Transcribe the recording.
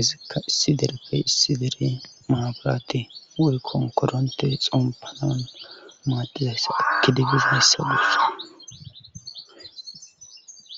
izikka issi derekkay issi dere maaburate oy konkoronte xompanan maaddizayssat kidegges hassa guessa